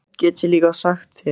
Og eitt get ég líka sagt þér